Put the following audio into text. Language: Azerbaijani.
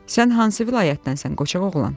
Sən hansı vilayətdənsən, Qoçaq oğlan?